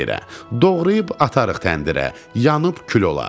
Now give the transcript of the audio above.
Doğrayıb atarıq təndirə, yanıb kül olar.